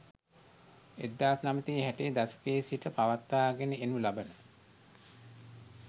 1960 දශකයේ සිට පවත්වාගෙන එනු ලබන